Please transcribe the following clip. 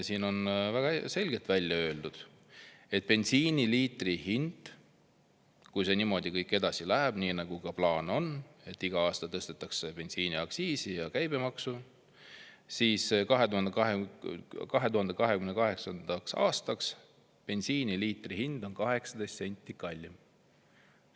Siin on väga selgelt välja öeldud, et kui see kõik niimoodi edasi läheb, nagu plaanis on, et iga aasta tõstetakse bensiiniaktsiisi ja käibemaksu, siis 2028. aastaks on bensiiniliitri hind 18 senti kallim.